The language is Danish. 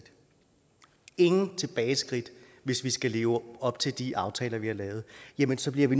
ingen tilbageskridt hvis vi skal leve op til de aftaler vi har lavet jamen så bliver vi